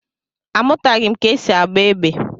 Amụtaghị m ka e si agba égbè.